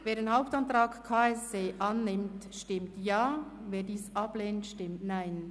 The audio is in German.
Wer den Hauptantrag KSE Bern annimmt, stimmt Ja, wer dies ablehnt, stimmt Nein.